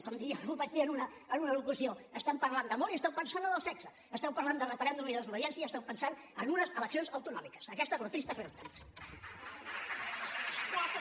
com un dia vaig dir en una locució esteu parlant d’amor i esteu pensant en el sexe esteu parlant de referèndum i desobediència i esteu pensant en unes eleccions autonòmiques aquesta és la trista realitat